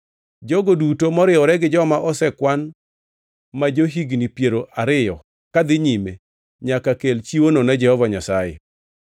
Jogo duto moriwore gi joma osekwan ma jo-higni piero ariyo kadhi nyime nyaka kel chiwono ne Jehova Nyasaye.